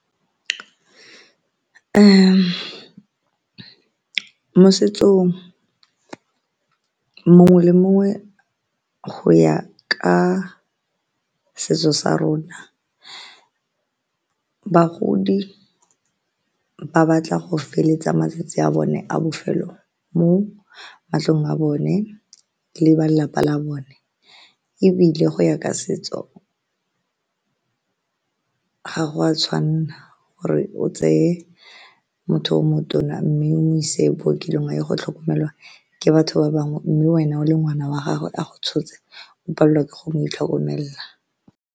Mo setsong mongwe le mongwe go ya ka setso sa rona, bagodi ba batla go feletsa matsatsi a bone a bofelo mo matlong a bone le ba lelapa la bone ebile go ya ka setso ga go a tshwanna gore o tseye motho o motona mme o mo ise bookelong a ye go tlhokomelwa ke batho ba bangwe mme wena o le ngwana wa gagwe a go tshotse o ke go mo itlhokomelela.